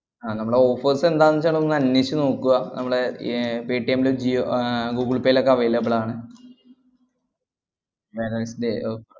ആഹ് നമ്മളെ offers എന്താന്നുവെച്ചാലൊന്ന് അന്വേഷിച്ചുനോക്കുവാ. നമ്മളെ ഏർ പെട്ടീഎമ്മിലും ജിയോ ആഹ് ഗൂഗ്ൾപേയിലൊക്കെ available ആണ് വേറെ day~ അഹ്